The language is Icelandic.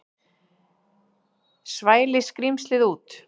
Svæli skrímslið út.